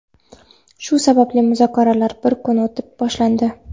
shu sababli muzokaralar bir kun o‘tib boshlandi.